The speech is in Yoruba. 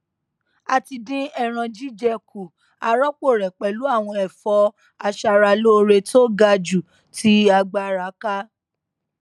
a ti dín ẹran jíjẹ kù a rọpò rẹ pẹlú àwọn ẹfọ aṣaralóore tó ga jù tí agbára ká